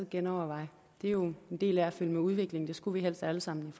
genoverveje det er jo en del af at følge med udviklingen og det skulle vi helst alle sammen